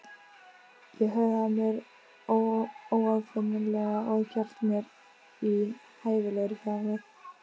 Ég hegðaði mér óaðfinnanlega- og hélt mér í hæfilegri fjarlægð.